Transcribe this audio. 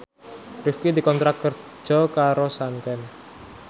Rifqi dikontrak kerja karo Sanken